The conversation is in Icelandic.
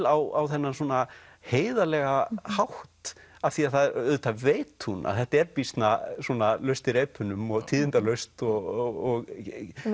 á þennan svona heiðarlega hátt af því að auðvitað veit hún að þetta er býsna svona laust í reipunum og tíðindalaust og í